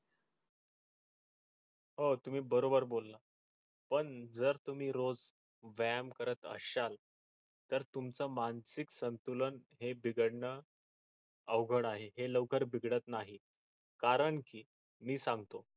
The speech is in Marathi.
हो तुम्ही बरोबर बोलला पण जर तुम्ही रोज व्यायाम करत असाल तर तुमच मानसिक संतुलन हे बिघडण अवघड आहे हे लवकर बिघडत नाही कारण की मी सांगतो